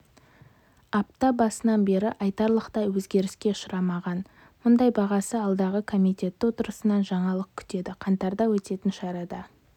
апта басынан бері айтарлықтай өзгеріске ұшырамаған мұнай бағасы алдағы комитеті отырысынан жаңалық күтеді қаңтарда өтетін шарада